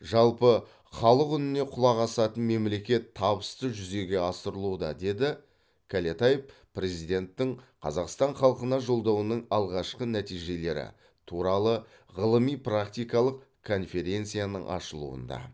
жалпы халық үніне құлақ асатын мемлекет табысты жүзеге асырылуда деді кәлетаев президенттің қазақстан халқына жолдауының алғашқы нәтижелері туралы ғылыми практикалық конференцияның ашылуында